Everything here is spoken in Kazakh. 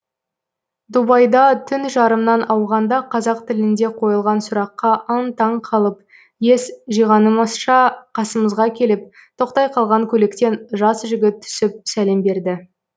дубайда түн жарымнан ауғанда қазақ тілінде қойылған сұраққа аң таң қалып ес жиғанымызша қасымызға келіп тоқтай қалған көліктен жас жігіт түсіп сәлем берді